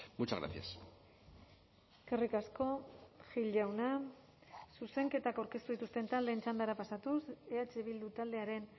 muchas gracias eskerrik asko gil jauna zuzenketak aurkeztu dituzten taldeen txandara pasatuz eh bildu taldearen